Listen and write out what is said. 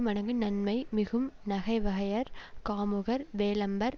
மடங்கு நன்மை மிகும் நகைவகையர் காமுகர் வேழம்பர்